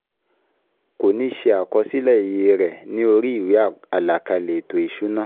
Kò ní ṣe àkọsílẹ̀ iye rẹ̀ ní orí ìwé àlàkalẹ̀ ètò ìsúná